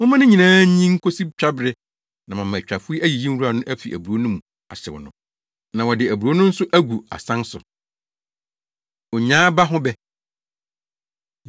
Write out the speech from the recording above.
Momma ne nyinaa nyin nkosi twabere na mama atwafo ayiyi nwura no afi aburow no mu ahyew no, na wɔde aburow no nso agu asan so.” Onyaa Aba Ho Bɛ